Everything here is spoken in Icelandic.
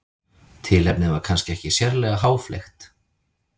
Tilefnið var kannski ekki sérlega háfleygt.